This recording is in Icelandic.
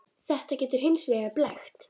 Þetta getur hins vegar blekkt.